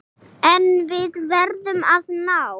En við verðum að ná